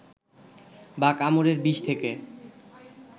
বা কামড়ের বিষ থেকে